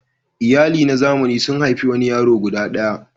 Iyali na zamani sun haifi wani yaro guda ɗaya.